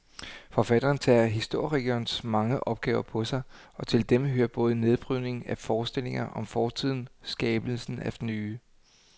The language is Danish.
Forfatteren tager historikerens mange opgaver på sig, og til dem hører både nedbrydningen af forestillinger om fortiden skabelsen af nye.